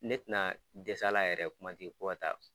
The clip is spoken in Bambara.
Ne tɛna dɛsɛ a la yɛrɛ kuma tɛ ko ka taa